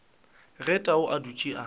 ge tau a dutše a